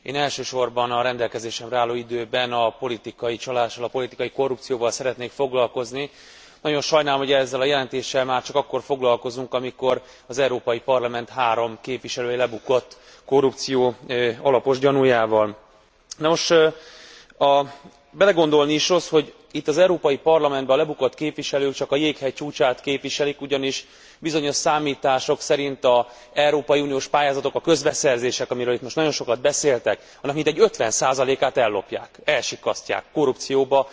Köszönöm a szót, tisztelt Elnök Asszony! Tisztelt Képviselőtársaim! Én elsősorban a rendelkezésemre álló időben a politikai csalással, a politikai korrupcióval szeretnék foglakozni. Nagyon sajnálom, hogy ezzel a jelentéssel már csak akkor foglalkozunk, amikor az Európai Parlament három képviselője lebukott korrupció alapos gyanújával. Belegondolni is rossz, hogy itt az Európai Parlamentben a lebukott képviselők csak a jéghegy csúcsát képviselik. Ugyanis bizonyos számítások szerint az európai uniós pályázatok, a közbeszerzések, amiről itt most nagyon sokat beszéltek, annak mintegy 50 át ellopják, elsikkasztják, korrupcióban